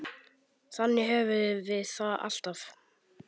Þannig höfum við það alltaf.